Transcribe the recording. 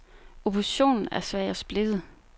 Oppositionen er svag og splittet.